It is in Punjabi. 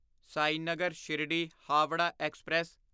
ਸਾਈਨਗਰ ਸ਼ਿਰਦੀ ਹਾਵਰਾ ਐਕਸਪ੍ਰੈਸ